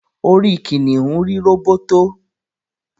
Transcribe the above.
orí kìnìún rí róbótó